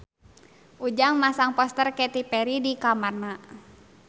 Ujang masang poster Katy Perry di kamarna